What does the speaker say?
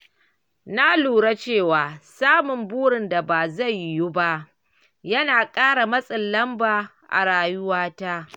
Na lura cewa samun burin da ba zai yiwu ba yana ƙara matsin lamba a rayuwata.